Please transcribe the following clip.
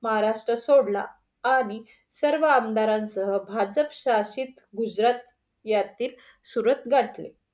महाराष्ट्र सोडला आणि सर्व आमदारांसह भाजप स्तराशीत गुजरात सुरत गाठले.